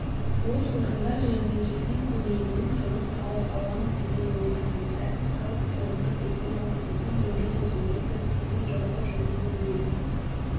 бос орындар жәрмеңкесінің көмегімен жұмыс тауып аламын деген ойдамын сәтін салып қолыма диплом алған соң еңбек етуге кірісемін жалпы жұмысым мен